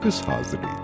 Qız hazır idi.